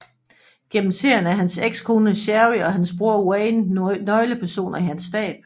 Gennem serien er hans ekskone Sherry og hans bror Wayne nøgle personer i hans stab